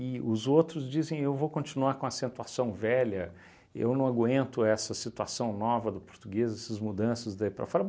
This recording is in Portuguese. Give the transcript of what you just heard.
os outros dizem, eu vou continuar com acentuação velha, eu não aguento essa situação nova do português, essas mudanças daí para fora.